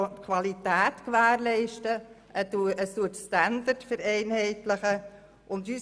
Sie gewährleisten Qualität und vereinheitlichen Standards.